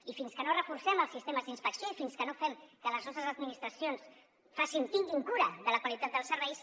i fins que no reforcem els sistemes d’inspecció i fins que no fem que les nostres administracions tinguin cura de la qualitat dels serveis